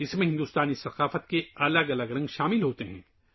اس میں ہندوستانی ثقافت کے مختلف رنگ شامل ہیں